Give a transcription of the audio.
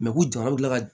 u jama bɛ kila ka